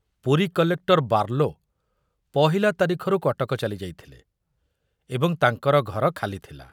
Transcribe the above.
Puri collector Barlow ପହିଲା ତାରିଖରୁ କଟକ ଚାଲିଯାଇଥିଲେ ଏବଂ ତାଙ୍କର ଘର ଖାଲିଥିଲା।